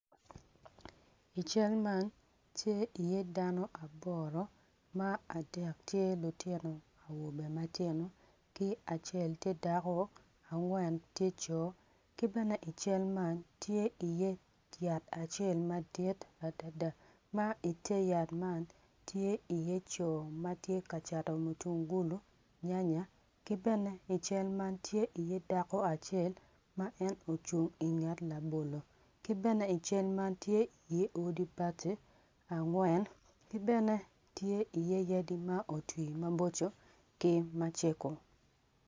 I cal man tye iye dano aboro ma adek tye lutino awobe matino ki acel tye dako angwen tye co ki bene i cal man tye iye yat acel madit adada ma ite yat man, tye iye co ma tye ka cato mutungulu nyanya ki bene i cal man tye iye dako acel ma en ocung inget labolo, ki bene i cal man tye iye odi bati angwen ki bene tye iye yadi ma otwi maboco ki macego.